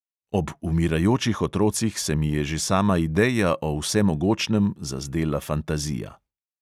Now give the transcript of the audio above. "Ob umirajočih otrocih se mi je že sama ideja o vsemogočnem zazdela fantazija."